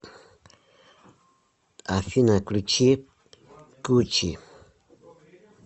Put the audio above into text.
афина включи гучи